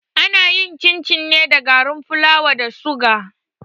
Ana yin cin-cin ne da garin fulawa da suga.